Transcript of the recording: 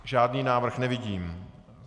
Žádný návrh nevidím.